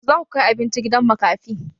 Yaushe zaku kai abinci gidan makafi?